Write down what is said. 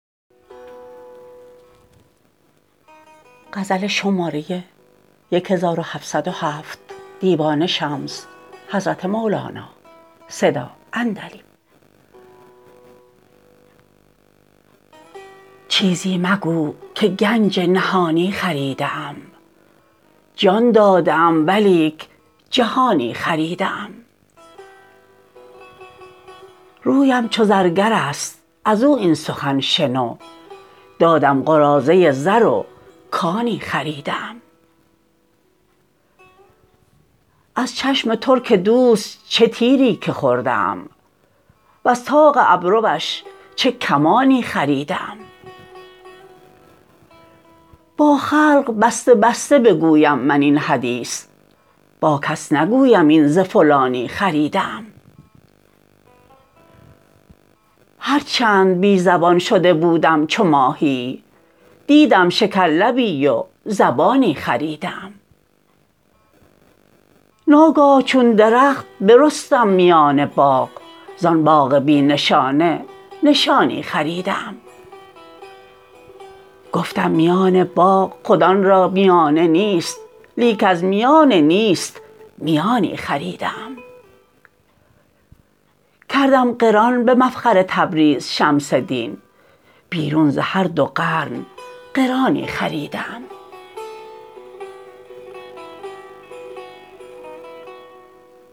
چیزی مگو که گنج نهانی خریده ام جان داده ام ولیک جهانی خریده ام رویم چو زرگر است از او این سخن شنو دادم قراضه زر و کانی خریده ام از چشم ترک دوست چه تیری که خورده ام وز طاق ابروش چه کمانی خریده ام با خلق بسته بسته بگویم من این حدیث با کس نگویم این ز فلانی خریده ام هر چند بی زبان شده بودم چو ماهیی دیدم شکرلبی و زبانی خریده ام ناگاه چون درخت برستم میان باغ زان باغ بی نشانه نشانی خریده ام گفتم میان باغ خود آن را میانه نیست لیک از میان نیست میانی خریده ام کردم قران به مفخر تبریز شمس دین بیرون ز هر دو قرن قرانی خریده ام